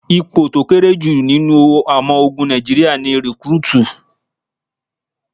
Ipò tó kéré jù nínú ọmọ ogun Nàìjíríà ni Recruit.